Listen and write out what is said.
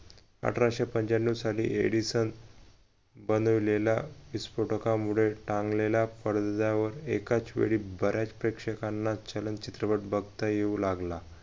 अठराशे पंचाण्णव साली edison बनवलेला विस्फोटकामुळे टांगलेला पडद्यावर एकाचवेळी बऱ्याच प्रेक्षकांना छलन चित्रपट बघता येऊ लागला